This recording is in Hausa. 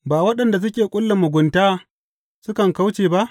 Ba waɗanda suke ƙulla mugunta sukan kauce ba?